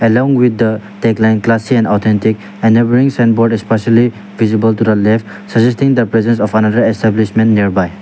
along with the headline classy and authentic a neighbouring signboard especially visible to the left suggesting the buisness of another establishment nearby.